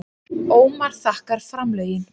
Ómar þakkar framlögin